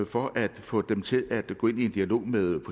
for at få dem til at gå ind i en dialog med